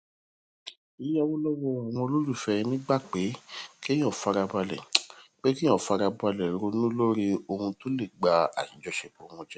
yíyáwó lówó àwọn olólùfẹ ẹni gba pé kéèyàn farabalè pé kéèyàn farabalè ronú lórí ohun tó lè ba àjọṣepọ wọn jẹ